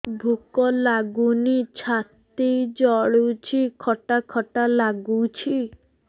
ଭୁକ ଲାଗୁନି ଛାତି ଜଳୁଛି ଖଟା ଖଟା ଲାଗୁଛି